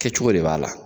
Kɛcogo de b'a la